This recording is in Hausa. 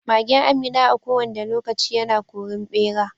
Magen Amina a ko wanda lokaci yana korin ɓera.